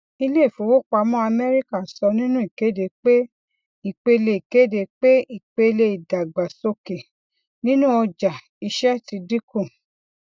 iléìfowópamọ amẹríkà sọ nínú ìkéde pé ìpele ìkéde pé ìpele ìdàgbàsókè nínú ọjà iṣẹ ti dínkù